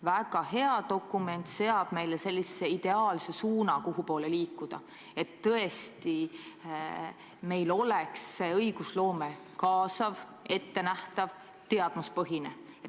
Väga hea dokument seab meile ideaalse suuna, kuhupoole liikuda, et tõesti meie õigusloome oleks kaasav, ettenähtav, teadmuspõhine.